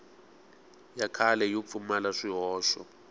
ya kahle yo pfumala swihoxo